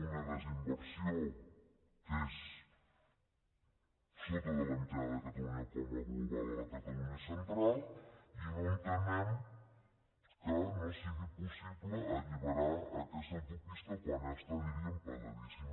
una desinversió que és per sota de la mitjana de catalunya com a global a la catalunya central i no entenem que no sigui pos·sible alliberar aquesta autopista quan ja està diríem pagadíssima